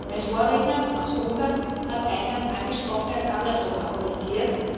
Mein Vorredner aus Ungarn hat sein Land angesprochen, er hat es andersrum argumentiert.